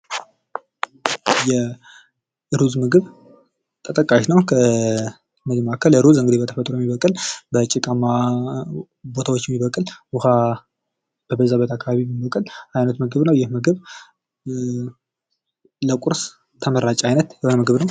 የሩዝ ምግብ ተጠቃሽ ነው። ከምግብ መካከል ሩዝ እንግድህ በተፈጥሮ የሚበቅል፤ በጭቃማ ቦታዎች የሚበቅል ፤ውሃ በበዛበት አካባቢ የሚበቅል አይነት ምግብ ነው ይህ ምግብ ለቁርስ ተመራጭ አይነት የሆነ ምግብ ነው።